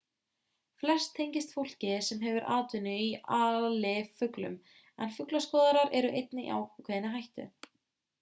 flest tengist fólki sem hefur atvinnu af alifuglum en fuglaskoðarar eru einnig í ákveðinni hættu